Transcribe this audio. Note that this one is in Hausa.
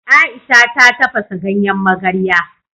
Ai'sha ta tafasa ganyen magarya.